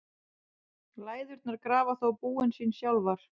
Læðurnar grafa þó búin sín sjálfar.